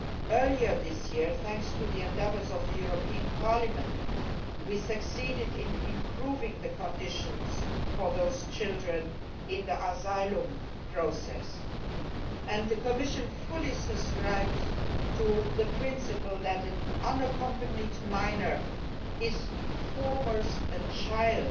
Earlier this year, thanks to the endeavours of the European Parliament, we succeeded in improving the conditions for those children in the asylum process, and the Commission fully subscribes to the principle that an unaccompanied minor is, first and foremost, a child